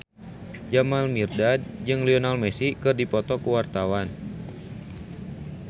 Jamal Mirdad jeung Lionel Messi keur dipoto ku wartawan